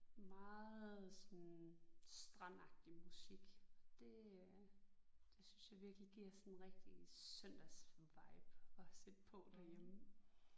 Meget sådan strandagtig musik det øh det synes jeg virkelig giver sådan en rigtig søndagsvibe at sætte på derhjemme